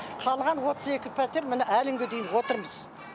қалған отыз екі пәтер міне әлі күнге дейін отырмыз